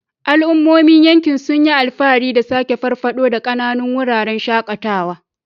Al'ummomin yankin sun yi alfahari da sake farfado da ƙananun wuraren shakatawa.